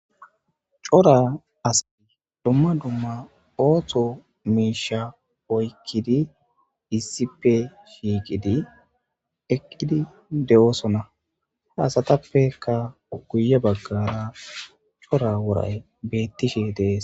cora asay dumma dumma ooththo miisha oykkidi issipe shiiqidi eqqidi de7oosona ha asatappekka guye baggara cora woray beettishe dees